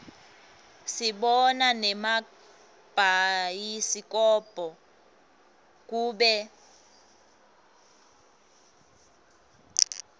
sibona nemabhayisikobho kubo